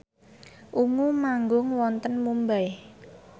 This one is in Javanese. Ungu manggung wonten Mumbai